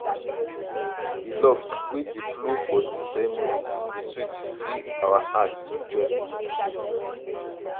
di love wey dey flow for di ceremony dey sweet fill our heart with joy.